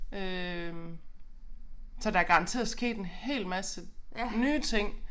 Øh så der garanteret sket en hel masse nye ting